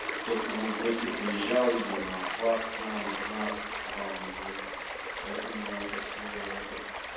кто кому в гости приезжал видимо от вас к нам от нас к вам поэтому это всё это